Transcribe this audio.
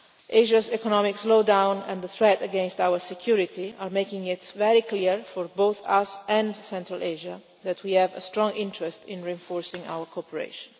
Asia's economic slowdown and the threat against our security are making it very clear, for both us and Central Asia, that we have a strong interest in reinforcing our cooperation.